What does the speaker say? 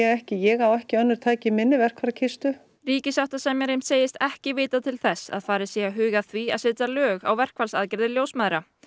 ekki ég á ekki önnur tæki í minni verkfærakistu ríkissáttasemjari segist ekki vita til þess að farið sé að huga að því að setja lög á verkfallsaðgerðir ljósmæðra